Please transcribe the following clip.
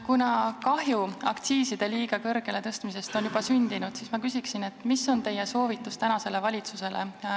Kuna kahju aktsiiside liiga kõrgele tõstmisest on juba sündinud, siis ma küsin, mis on teie soovitus tänasele valitsusele.